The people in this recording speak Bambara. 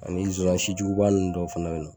Ani nsonsannin sijuguba ninnu dɔ fana bɛ yen nɔ